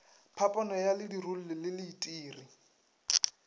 phapano ya ledirolli le leitiri